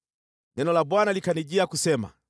Neno la Bwana likanijia kusema: